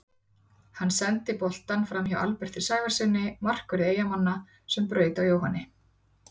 Hann sendi boltann framhjá Alberti Sævarssyni markverði Eyjamanna sem braut á Jóhanni.